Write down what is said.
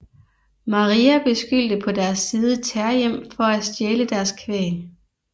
Mahria beskyldte på deres side terjem for at stjæle deres kvæg